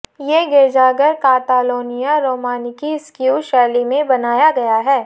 ये गिरजाघर कातालोनिया रोमानिस्किऊ शैली में बनाया गया है